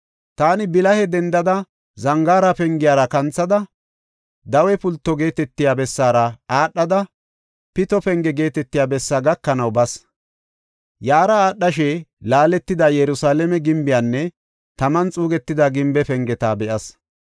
Taani bilahe dendada Zangaara Pengiyara kanthada, Dawe Pulto geetetiya bessaara aadhada, Pito Penge geetetiya bessaa gakanaw bas. Yaara aadhashe laaletida Yerusalaame gimbiyanne taman xuugetida gimbe pengeta be7as.